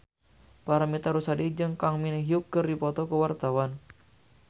Paramitha Rusady jeung Kang Min Hyuk keur dipoto ku wartawan